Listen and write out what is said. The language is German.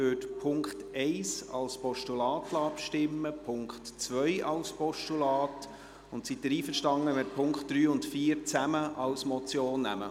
Ich würde über den Punkt 1 als Postulat abstimmen lassen, über den Punkt 2 als Postulat.. Und sind Sie einverstanden, wenn wir die Punkte 3 und 4 zusammen als Motion nehmen?